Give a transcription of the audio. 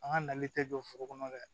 An ka nali tɛ jɔ foro kɔnɔ dɛ